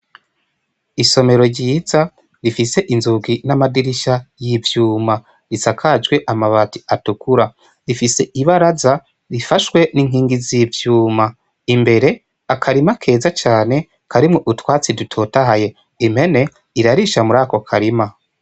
Isomero ryiza rifise inzugi n'amadirisha y'ivyuma isakajwe amabati atukura ifise ibaraza rifashwe n'inkingi z'ivyuma. Imbere akarima keza cane karimwo utwatsi dutotahaye impene irarisha muri ako karima.